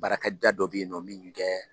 Baarakɛda dɔ bɛ ye nɔ minnu tɛ